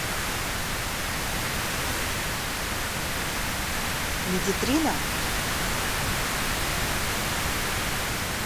медитрина